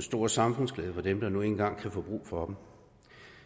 stor samfundsglæde for dem der nu engang kan få brug for dem